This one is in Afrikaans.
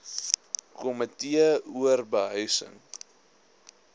komitee or behuising